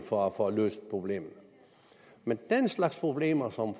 for at få løst problemer men den slags problemer som